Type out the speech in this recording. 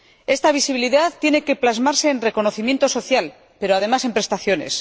Esta visibilidad tiene que plasmarse en reconocimiento social, pero, además, en prestaciones.